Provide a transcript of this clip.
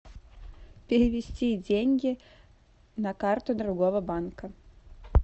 перевести деньги на карту другого банка